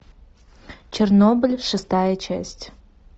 чернобыль шестая часть